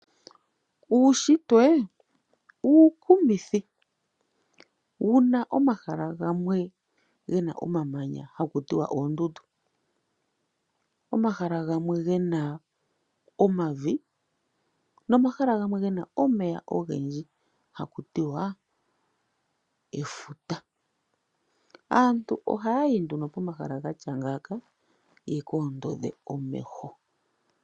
Uushitwe uukumithi wuna omahala gamwe gena omamanya ha kutiwa oondundu, omahala gamwe gena omavi nomahala gamwe gena omeya ogendji ha ku tiwa efuta naantu ohaayi pomahala ngaka yekoondodhe omeho.